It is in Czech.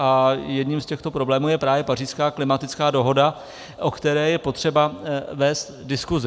A jedním z těchto problémů je právě Pařížská klimatická dohoda, o které je potřeba vést diskuzi.